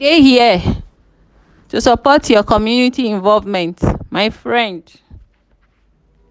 i dey here to support your community involvement my friend.